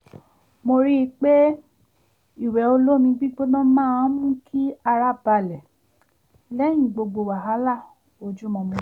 mo ríi pé ìwẹ̀ olómi gbígbóná máa ń mú kí ara balẹ̀ lẹ́yìn gbogbo wàhálà ojúmọmọ